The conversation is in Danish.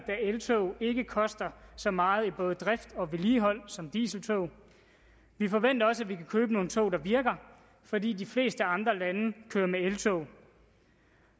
eltog ikke koster så meget i drift og vedligeholdelse som dieseltog vi forventer også at vi kan købe nogle tog der virker fordi de fleste andre lande kører med eltog